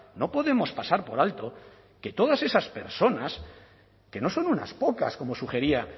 no podemos pasar por alto que todas esas personas que no son unas pocas como sugería